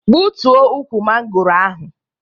Gbutuo ukwu mangoro ahụ!